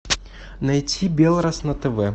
найти белрос на тв